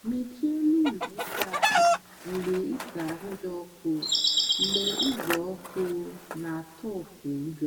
mechie elu ụlọ ịsa ahụ mgbe ịsa ahụ dị ọkụ mgbe uzuoku na-atọpụ ujo.